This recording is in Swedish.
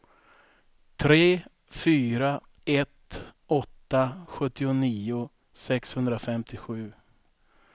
tre fyra ett åtta sjuttionio sexhundrafemtiosju